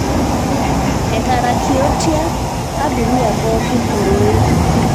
etaarakiotia abiria pooki ororei